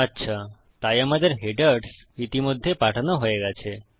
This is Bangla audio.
আচ্ছা তাই আমাদের হেডার্স ইতিমধ্যে পাঠানো হয়ে গেছে